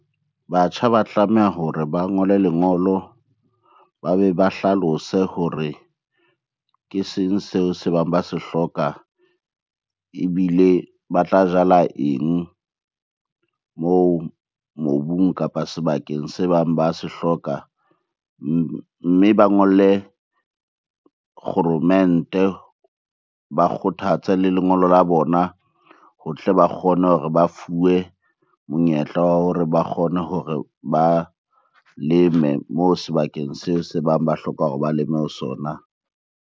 Batjha ba tlameha hore ba ngole lengolo. Ba be ba hlalose hore ke seng seo se bang ba se hloka, ebile ba tla jala eng moo mobung kapa sebakeng se bang ba se hloka. Mme ba ngolle kgoromente, ba kgothatse le lengolo la bona ho tle ba kgone hore ba fuwe monyetla wa hore ba kgone hore ba leme moo sebakeng seo se bang ba hloka hore ba leme ho sona.